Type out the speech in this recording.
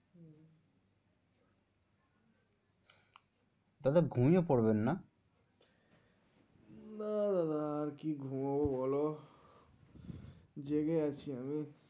দাদা ঘুমিয়ে পড়বেন না না না আর কি ঘুমবো বলো জেগে আছি আমি।